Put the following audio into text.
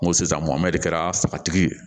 N ko sisan mɔnmɔndɛ kɛra satigi ye